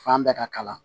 Fan bɛɛ ka kalan